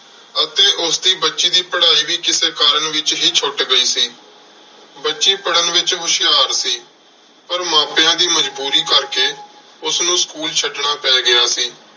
ਅਤੇ ਉਸਦੀ ਬੱਚੀ ਦੀ ਪੜ੍ਹਾਈ ਵੀ ਕਿਸੇ ਕਾਰਨ ਵਿੱਚ ਹੀ ਛੁੱਟ ਗਈ ਸੀ। ਬੱਚੀ ਪੜਨ ਵਿੱਚ ਹੁਸ਼ਿਆਰ ਸੀ। ਪਰ ਮਾਪਿਆਂ ਦੀ ਮਜ਼ਬੂਰੀ ਕਰਕੇ ਉਸਨੂੰ school ਛੱਡਣਾ ਪੈ ਗਿਆ ਸੀ।